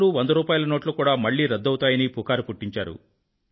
100 రూపాయిల నోట్లు కూడా మళ్ళీ రద్దవుతాయనీ పుకారు పుట్టించారు